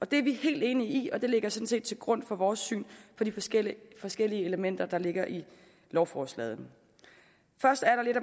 det er vi helt enige i og det ligger sådan set til grund for vores syn på de forskellige forskellige elementer der ligger i lovforslaget først er der lidt